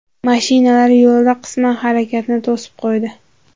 Mashinalar yo‘lda qisman harakatni to‘sib qo‘ydi.